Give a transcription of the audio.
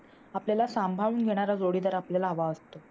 आपल्याला सांभाळून घेणारा जोडीदार आपल्याला हवा असतो.